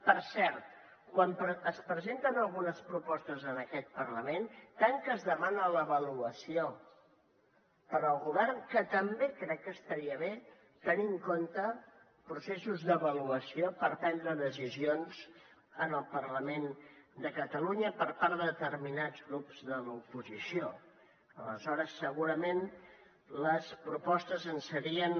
per cert quan es presenten algunes propostes en aquest parlament tant que es demana l’avaluació per al govern també crec que estaria bé tenir en compte processos d’avaluació per prendre decisions en el parlament de catalunya per part de determinats grups de l’oposició aleshores segurament les propostes serien